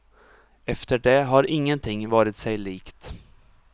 Efter det har ingenting varit sig likt.